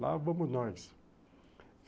Lá vamos nós.